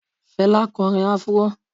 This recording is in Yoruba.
Fela korín afro